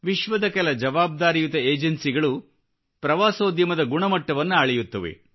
ವಿಶ್ವದ ಕೆಲ ಜವಾಬ್ದಾರಿಯುತ ಏಜನ್ಸಿಗಳು ಪ್ರವಾಸೋದ್ಯಮದ ಗುಣಮಟ್ಟವನ್ನು ಅಳೆಯುತ್ತವೆ